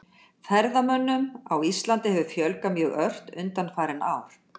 Ferðamönnum á Íslandi hefur fjölgað mjög ört undanfarin ár.